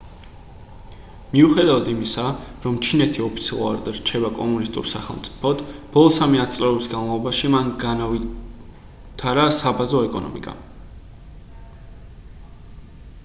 მიუხედავად იმისა რომ ჩინეთი ოფიციალურად რჩება კომუნისტურ სახელმწიფოდ ბოლო სამი ათწლეულის განმავლობაში მან განავითარა საბაზრო ეკონომიკა